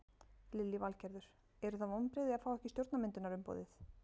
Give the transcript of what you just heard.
Lillý Valgerður: Eru það vonbrigði að fá ekki stjórnarmyndunarumboðið?